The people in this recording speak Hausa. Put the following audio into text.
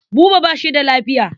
Buba ba shi da lafiya.